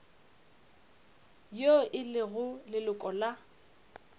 yo e lego leloko la